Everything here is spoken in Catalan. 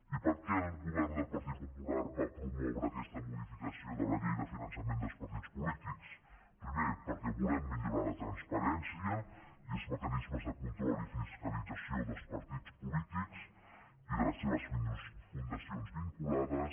i per què el govern del partit popular va promoure aquesta modificació de la llei de finançament dels partits polítics primer perquè volem millorar la transparència i els mecanismes de control i fiscalització dels partits polítics i de les seves fundacions vinculades